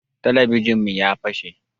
Talabijin mu ya fase